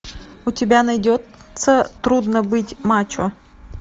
у тебя найдется трудно быть мачо